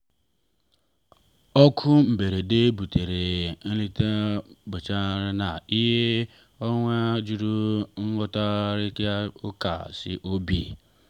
oku mberede butere nleta mberede na awa juru n'ịkparịta ụka si n’obi.